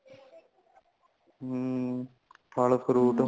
ਹੂੰ ਫ਼ਲ fruit ਹੋਂਦੇ ਨੇ